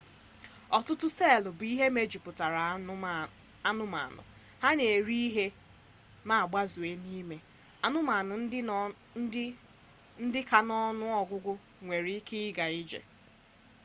ọtụtụ seelụ bụ ihe mejupụtara anụmanụ ha na-eri ihe ma gbazee ha n'ime anụmanụ ndị ka n'ọnụ ọgụgụ nwere ike ịga ije